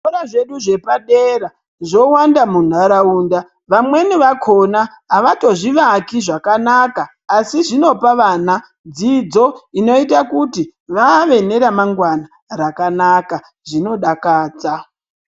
Zvikora zvedu zvepadera zvowanda munharaunda vamweni vakona avatozvivaki zvakanaka asi zvinopa vana dzidzo inoita kuti vave neremangwnaa rakanaka zvinodakadza.